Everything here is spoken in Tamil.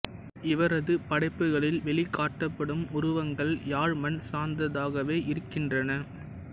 இவரது படைப்புக்களில் வெளிக்காட்டப்படும் உருவங்கள் யாழ் மண் சார்ந்ததாகவே இருக்கின்றன